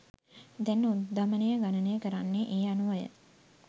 දැන් උද්ධමනය ගණනය කරන්නේ ඒ අනුවය